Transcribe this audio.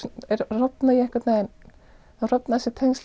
rofna ég einhvern veginn þá rofna þessi tengsl